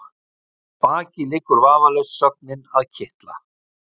Að baki liggur vafalaust sögnin að kitla.